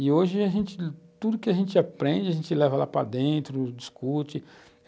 E hoje, a gente, tudo que a gente aprende, a gente leva lá para dentro, discute.